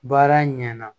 Baara ɲɛna